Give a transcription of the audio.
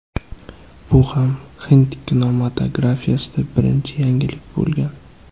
Bu ham hind kinematografiyasida birinchi yangilik bo‘lgan.